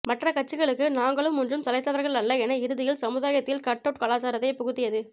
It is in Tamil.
மற்ற கட்சிகளுக்கு நாங்களும் ஒன்றும் சலைத்தவர்கள அல்ல என்று இறுதியில் சமுதாயத்தில் கட்அவுட் கலாச்சாரத்தைப் புகுத்தியது